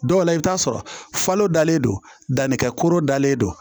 Dɔw la i bɛ t'a sɔrɔ falo dalen don dannikɛ kurun dalen don